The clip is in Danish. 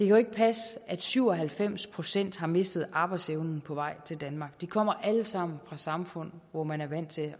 jo ikke passe at syv og halvfems procent har mistet arbejdsevnen på vej til danmark de kommer alle sammen fra samfund hvor man er vant til